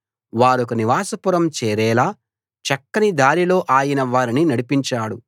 వారొక నివాస పురం చేరేలా చక్కని దారిలో ఆయన వారిని నడిపించాడు